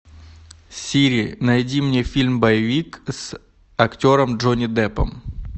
сири найди мне фильм боевик с актером джонни деппом